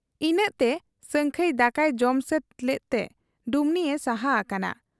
ᱤᱱᱟᱹᱜᱛᱮ ᱥᱟᱹᱝᱠᱷᱟᱹᱭ ᱫᱟᱠᱟᱭ ᱡᱚᱢ ᱥᱟᱹᱛ ᱞᱮᱫ ᱛᱮ ᱰᱩᱢᱱᱤᱭᱮ ᱥᱟᱦᱟ ᱦᱟᱠᱟᱱᱟ ᱾